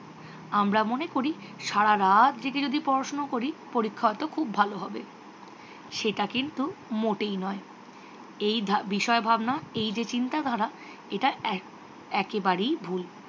আমরা মনে করি সারা রাত জেগে যদি পড়াশুনো করি পরীক্ষা হয়ত খুব ভালো হবে। সেটা কিন্তু মোটেই নয়। এই বিষয় ভাবনা এই যে চিন্তাধারা এটা একেবারেই ভুল